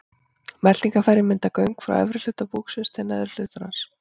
Meltingarfærin mynda göng frá efri hluta búksins til neðri hlutar hans.